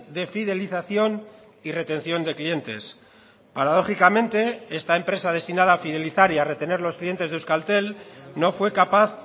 de fidelización y retención de clientes paradójicamente esta empresa destinada a fidelizar y a retener los clientes de euskaltel no fue capaz